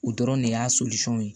U dɔrɔn de y'a ye